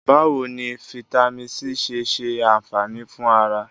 Báwo ni fítámìnì C ṣe ṣe ànfàní fún ara?